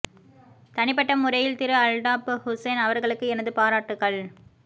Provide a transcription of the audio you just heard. தனி பட்ட முறையில் திரு அல்டாப்ப் ஹுசைன் அவர்களுக்கு எனது பாராட்டுக்கள்